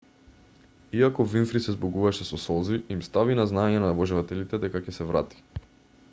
иако винфри се збогуваше со солзи им стави на знаење на обожавателите дека ќе се врати